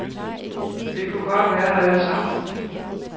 Vi kunne godt være der alle sammen.